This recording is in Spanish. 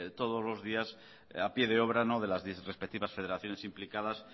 todos los días a pie de obra no de las respectivas federaciones implicadas